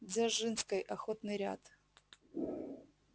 дзержинской охотный ряд